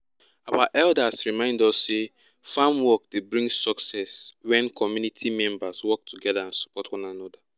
our elders remind us say farm work dey become success wen community members work together and support one another